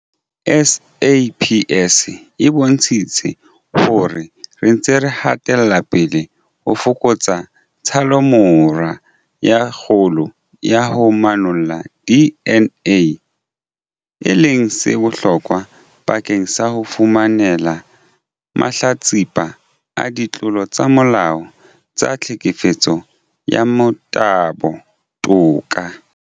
SAPS e bontshitse hore re ntse re hatela pele ho fokotsa tshallomora e kgolo ya ho manolla DNA, e leng se bohlokwa bakeng sa ho fumanela mahlatsipa a ditlolo tsa molao tsa tlhekefetso ya motabo toka.